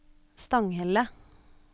Stanghelle